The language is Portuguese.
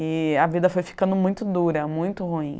E a vida foi ficando muito dura, muito ruim.